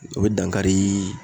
O be dankari